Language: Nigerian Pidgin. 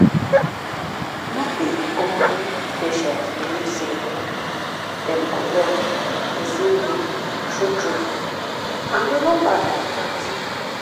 no be all patients believe sey dem go well the same way true true and e no bad like that."